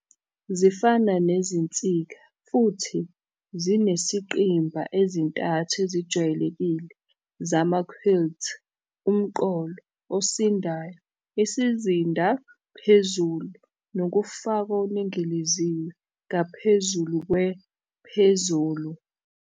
Zifana nezinsika, futhi zinezingqimba ezintathu ezijwayelekile zama-quilts - "umqolo" osindayo, isizinda "phezulu", nokufakwa okuningiliziwe ngaphezulu kwe- "phezulu".